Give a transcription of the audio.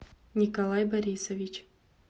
николай борисович